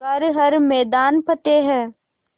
कर हर मैदान फ़तेह